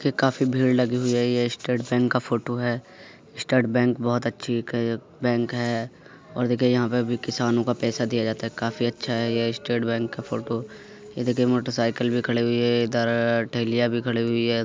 ये काफी भीड़ लगी हुई है | ये स्टेट बैंक का फ़ोटो है | स्टेट बैंक बोहोत अच्छी एक है एक बैंक है और देखिये यहाँ पे भी किसानो का पैसा दिया जाता है काफी अच्छा है ये स्टेट बैंक का फ़ोटो ये देखिये मोटर साइकिल भी खड़ी हुई है इधर टेहलिया भी खड़ी हुई है।